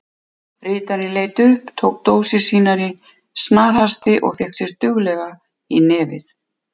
Ritarinn leit upp, tók dósir sínar í snarhasti og fékk sér duglega í nefið.